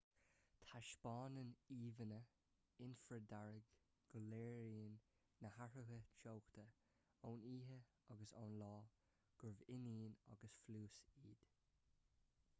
taispeánann íomhánna infridhearg go léiríonn na hathruithe teochta ón oíche agus ón lá gurb ionann agus phluais iad